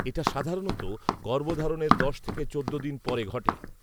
এটা সাধারণত গর্ভধারণের দশ থেকে চোদ্দ দিন পরে ঘটে